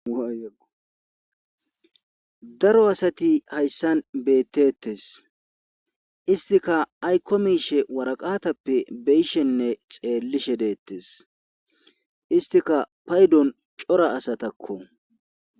daro asati hayssan beettettes istika ayko miishe waraqatappe beyishenne xeellishe deettes istika paydon cora asatakko